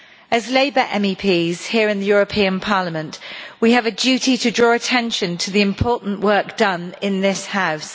As Labour MEPs here in the European Parliament, we have a duty to draw attention to the important work done in this House.